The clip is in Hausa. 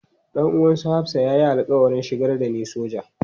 Dan uwan su Hafsah ya yi alƙawarin shigar da ni soja.